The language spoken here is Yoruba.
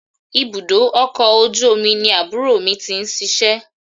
Ibùdó ọkọ̀ ojú omi ni àbúrò mi ti ń ṣíṣe.